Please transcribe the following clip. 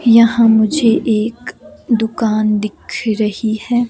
यहां मुझे एक दुकान दिख रही है।